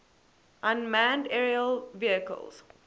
unmanned aerial vehicles